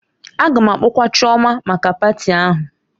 A ga-akpọkwa Chioma maka patị ahụ